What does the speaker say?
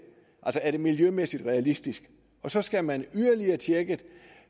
er miljømæssigt realistisk og så skal man yderligere tjekke